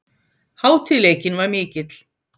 Hátíðleikinn var mikill.